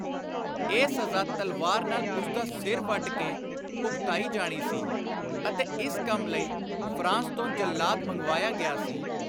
ਇਹ ਸਜ਼ਾ ਤਲਵਾਰ ਨਾਲ ਉਸਦਾ ਸਿਰ ਵੱਢ ਕੇ ਭੁਗਤਾਈ ਜਾਣੀ ਸੀ ਅਤੇ ਇਸ ਕੰਮ ਲਈ ਫ਼ਰਾਂਸ ਤੋਂ ਜੱਲਾਦ ਮੰਗਵਾਇਆ ਗਿਆ ਸੀ।